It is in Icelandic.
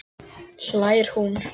hlær hún.